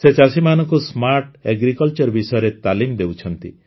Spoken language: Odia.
ସେ ଚାଷୀମାନଙ୍କୁ ସ୍ମାର୍ଟ ଏଗ୍ରିକଲଚର ବିଷୟରେ ତାଲିମ ଦେଉଛନ୍ତି